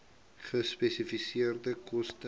gespesifiseerde koste